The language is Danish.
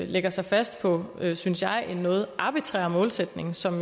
lægger sig fast på synes jeg en noget arbitrær målsætning som